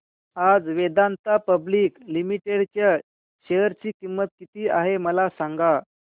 आज Vedanta Public Limited च्या share ची किंमत किती आहे मला सांगा